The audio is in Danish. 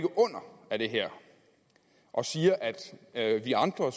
under af det her og siger at vi andre